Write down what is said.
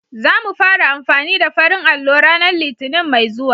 Za mu fara amfani da farin allo ranar Litinin mai zuwa.